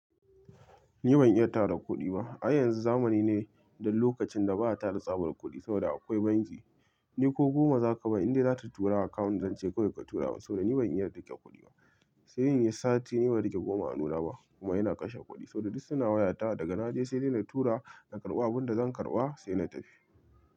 Ni ban iya tara kuɗi ba. Ai yanzu zamani ne don lokacin da ba a tara tsabar kuɗi saboda akwai banki. Ni ko goma za ka ban inda za ta turu a account zance kawai ka tura. Saboda ni ban iya riƙe kuɗi ba. Sai inyi sati ni ban riƙe goma a hannuna ba kuma ina kashe kuɗi. Saboda duk suna wayata daga naje sai dai na tura na karɓa abin da zan karɓa sai na tafi.